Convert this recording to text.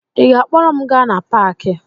Ị ga-akpọrọ m gaa na paakị?